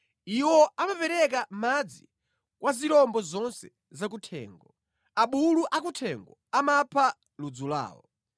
Iwo amapereka madzi kwa zirombo zonse zakuthengo; abulu akuthengo amapha ludzu lawo.